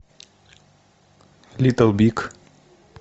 литл биг